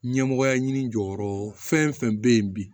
Ɲɛmɔgɔya ɲini jɔyɔrɔ fɛn o fɛn bɛ yen bi